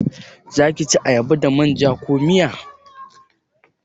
Zaki ci ayaba da manja ko miya?